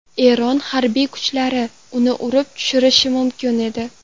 Eron harbiy kuchlari uni urib tushirishi mumkin edi.